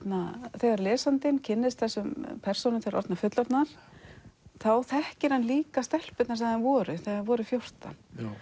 þegar lesandinn kynnist persónunum þegar orðnar fullorðnar þá þekkir hann líka stelpurnar sem þær voru þegar þær voru fjórtán